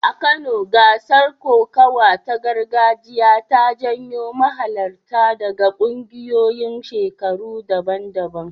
A Kano, gasar kokawa ta gargajiya ta jawo mahalarta daga ƙungiyoyin shekaru daban-daban.